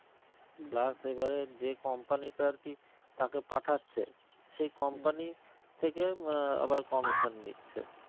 plus এবারে যে company তে আর কি তাকে পাঠাচ্ছে সেই company র থেকে আহ আবার commission নিচ্ছে